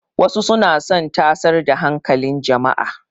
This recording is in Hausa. Wasu suna son tasar da hankalin jama'a.